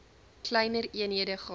kleiner eenhede gehad